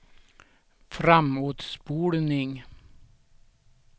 framåtspolning